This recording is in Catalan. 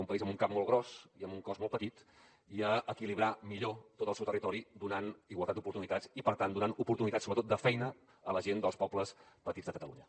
un país amb un cap molt gros i amb un cos molt petit i equilibrar millor tot el seu territori donant igualtat d’oportunitats i per tant donant oportunitats sobretot de feina a la gent dels pobles petits de catalunya